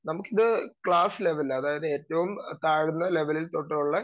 speaker 2 നമുക്കിത് ക്ലാസ്സില് അതായത് ഏറ്റവും താഴ്ന്ന ലെവലിൽ തൊട്ടുളെ